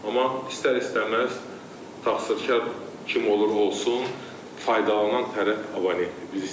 Amma istər-istəməz təsirkar kim olur olsun, faydalanan tərəf abonementdir.